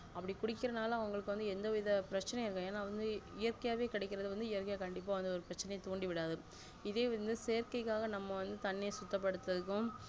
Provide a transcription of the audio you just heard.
அப்டி குடிகிரனால அவங்களுக்கு எந்தவித பிரச்சினை இருக்காது ஏனா இயற்கையாவே கிடைக்குறது இயற்கை கண்டிப்பா வந்து ஒரு பிரச்சனையைதூண்டிவிடாது இதே வந்து செயற்க்கைகாக நம்ம வந்து தண்ணிய சுத்தபடுதுறதும்